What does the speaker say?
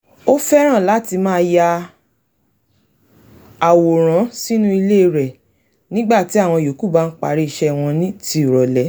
ó fẹ́ràn láti máa ya àwòrán sínú ìwé rẹ̀ nígbà tí àwọn yòókù bá ń parí iṣẹ́ wọn tì rọ̀lẹ́